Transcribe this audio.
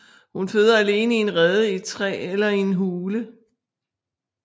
Hun føder alene i en rede i et træ eller i hule